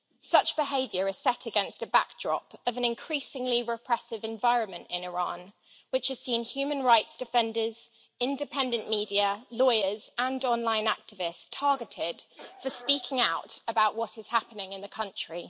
Such behaviour is set against a backdrop of an increasingly repressive environment in Iran, which has seen human rights defenders, independent media, lawyers and online activists targeted for speaking out about what is happening in the country.